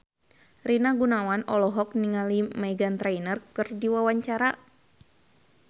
Rina Gunawan olohok ningali Meghan Trainor keur diwawancara